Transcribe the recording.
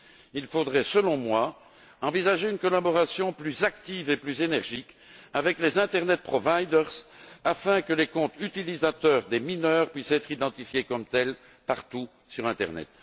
Il faudrait, selon moi, envisager une collaboration plus active et plus énergique avec les fournisseurs d'internet afin que les comptes d'utilisateurs des mineurs puissent être identifiés comme tels partout sur l'internet.